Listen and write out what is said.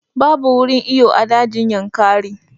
Babu wurin iyo a dajin Yankari